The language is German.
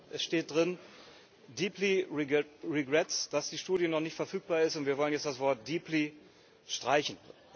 Es steht drin dass die Studie noch nicht verfügbar ist, und wir wollen jetzt das Wort streichen.